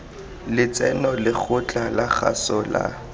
letseno lekgotla la kgaso la